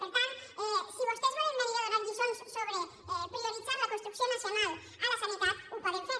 per tant si vostès volen venir a donar lliçons sobre prioritzar la construcció nacional a la sanitat ho poden fer